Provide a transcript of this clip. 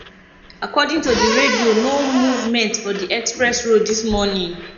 according to radio no movement for di express road this morning